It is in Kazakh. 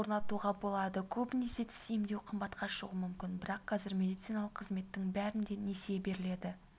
орнатуға болады көбіне тіс емдеу қымбатқа шығуы мүмкін бірақ қазір медициналық қызметтің бәріне несие беріледі